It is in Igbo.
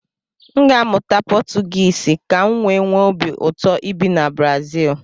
M ga-amụta Potugisi kam wee nwe obi ụtọ ibi na Brazil